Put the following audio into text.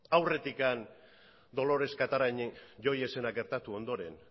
aurretik dolores katarain yoyesena gertatu ondoren